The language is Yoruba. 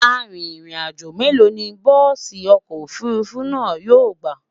Àrin rìn àjọ mélò ní bùsi ọkọ òfurufú náà yóò gbà?